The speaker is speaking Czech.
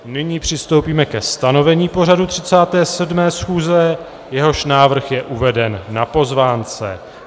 Nyní přistoupíme ke stanovení pořadu 37. schůze, jehož návrh je uveden na pozvánce.